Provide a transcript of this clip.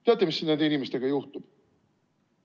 Teate, mis nende inimestega juhtub?